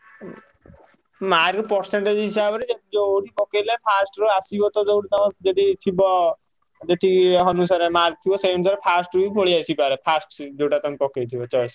ଉଁ mark percentage ହିସାବରେ ଯୋଉଠି ପକେଇଲେ first ରୁ ଆସିବ ତ ଯୋଉଠି ତମ ଯେତିକି ଥିବ ଯେତିକି ଅନୁସାରେ mark ଥିବ। ସେଇ ଅନୁସାରେ first ରୁ ବି ପଳେଇଆସିପାରେ first ସି ଯୋଉଟା ତମେ ପକେଇଥିବ choice